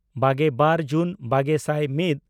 ᱵᱟᱜᱮᱵᱟᱨ ᱡᱩᱱ ᱵᱟᱜᱮ ᱥᱟᱭ ᱢᱤᱫ